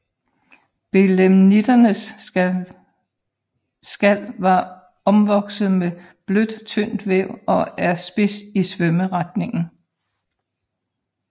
Belemnitternes skal var omvokset med blødt tyndt væv og er spids i svømmeretningen